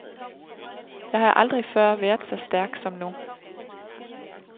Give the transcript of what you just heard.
Jeg har aldrig før været så stærk som nu.